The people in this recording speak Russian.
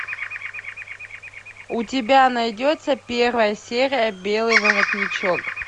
у тебя найдется первая серия белый воротничок